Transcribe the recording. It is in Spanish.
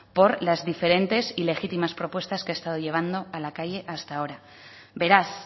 por las diferentes y legitimas propuestas que ha estado llevando a la calle hasta ahora beraz